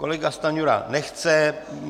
Kolega Stanjura nechce.